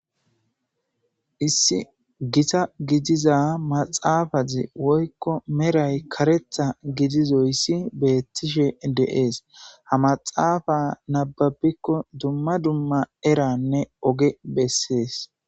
issi gita gidiza maxaafazi woykko meray karetha gidizoyssi beettishe deees ha maxaafa nababikko dumma dumma eranne oge bessees